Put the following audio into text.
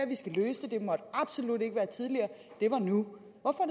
vi skal løse det det måtte absolut ikke være tidligere det var nu